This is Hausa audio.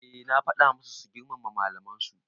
Eh na faɗa masu su girmama malaman su